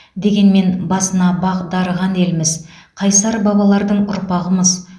дегенмен басына бақ дарыған елміз қайсар бабалардың ұрпағымыз